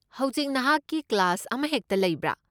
ꯍꯧꯖꯤꯛ ꯅꯍꯥꯛꯀꯤ ꯀ꯭ꯂꯥꯁ ꯑꯃꯍꯦꯛꯇ ꯂꯩꯕ꯭ꯔꯥ?